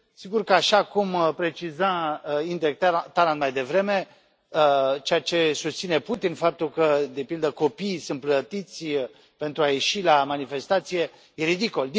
Sigur că așa cum preciza Indrek Tarand mai devreme, ceea ce susține Putin, faptul că de pildă copiii sunt plătiți pentru a ieși la manifestație e ridicol.